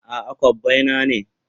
A'a, kobbai na ne.